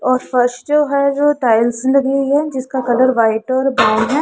और फर्श जो है जो टाइल्स लगी हुई है जिसका कलर व्हाइट और ब्राउन है।